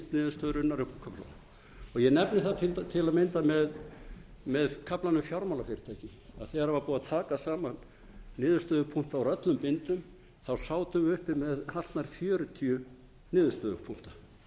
upp úr köflunum eg nefni það til að mynda með kaflann um fjármálafyrirtæki að þegar búið var að taka saman niðurstöðupunkta úr öllum bindum sátum við uppi með hartnær fjörutíu niðurstöðupunkta margir